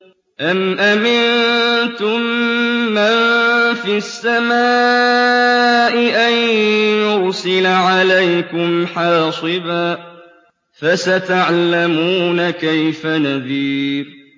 أَمْ أَمِنتُم مَّن فِي السَّمَاءِ أَن يُرْسِلَ عَلَيْكُمْ حَاصِبًا ۖ فَسَتَعْلَمُونَ كَيْفَ نَذِيرِ